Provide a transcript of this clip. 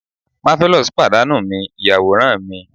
marvelous padanu mi iyaworan mi